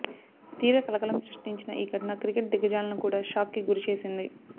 తీవ్ర కలకలం సృష్టించిన ఈ ఘటన క్రికెట్ దిగ్గజాలను కూడా షాక్ కి గురి చేసింది